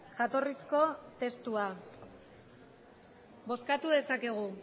jatorrizko testua bozkatu dezakegu